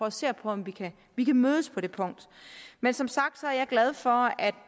at se på om vi kan mødes på det punkt men som sagt er jeg glad for at